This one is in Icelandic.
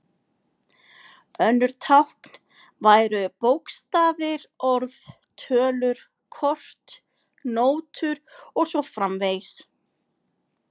Önnur tákn væru bókstafir, orð, tölur, kort, nótur og svo framvegis.